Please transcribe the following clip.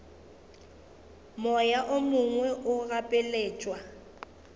moya o mongwe o gapeletšwa